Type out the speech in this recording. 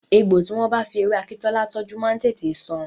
Egbò tí wọ́n bá fi ewé akíntọ́lá tọ́jú máa ń tètè san.